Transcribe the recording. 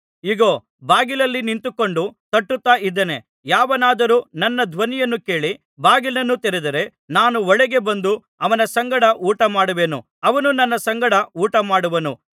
ಇಗೋ ಬಾಗಿಲಲ್ಲಿ ನಿಂತುಕೊಂಡು ತಟ್ಟುತ್ತಾ ಇದ್ದೇನೆ ಯಾವನಾದರೂ ನನ್ನ ಧ್ವನಿಯನ್ನು ಕೇಳಿ ಬಾಗಿಲನ್ನು ತೆರೆದರೆ ನಾನು ಒಳಗೆ ಬಂದು ಅವನ ಸಂಗಡ ಊಟ ಮಾಡುವೆನು ಅವನು ನನ್ನ ಸಂಗಡ ಊಟ ಮಾಡುವನು